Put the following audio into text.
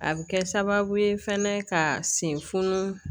A bɛ kɛ sababu ye fɛnɛ ka sen funu